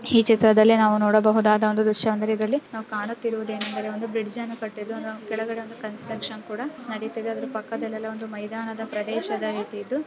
ಈ ಚಿತ್ರದಲ್ಲಿ ನಾವು ನೋಡಬಹುದಾದ ದೃಶ್ಯವೇನೆಂದರೆ ಕಾಣುತ್ತಿರುವುದೇನೆಂದರೆ ಬ್ರಿಡ್ಜ್ ಕಟ್ಟುತ್ತಿದ್ದಾರೆ ಅದರ ಕೆಳಗೆ ಅದರ ಪಕ್ಕದಲ್ಲಿ ಮೈದಾನದ ಪ್ರದೇಶ ಇದೆ.